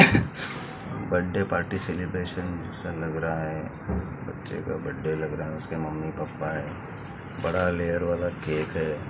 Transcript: बड्डे party celebration सा लग रहा है बच्चे का बड्डे लग रहा है उसके मम्मी पापा है बड़ा लेयर वाला केक है।